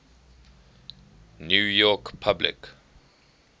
new york public